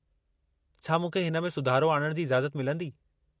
छा मूंखे हिन में सुधारो आणण जी इजाज़त मिलंदी?